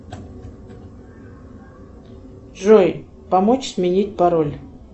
джой помочь сменить пароль